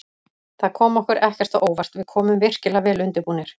Það kom okkur ekkert á óvart, við komum virkilega vel undirbúnir.